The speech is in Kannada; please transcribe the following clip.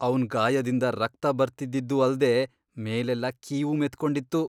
ಅವ್ನ್ ಗಾಯದಿಂದ ರಕ್ತ ಬರ್ತಿದ್ದಿದ್ದೂ ಅಲ್ದೇ ಮೇಲೆಲ್ಲ ಕೀವು ಮೆತ್ಕೊಂಡಿತ್ತು.